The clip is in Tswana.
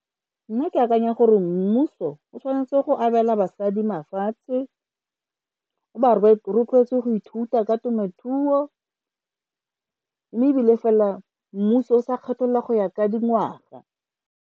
Nna ke akanya gore mmuso, o tshwanetse go abela basadi mafatshe, o ba rotloetse go ithuta ka temothuo, mme ebile fela mmuso o sa kgetholole go ya ka dingwaga.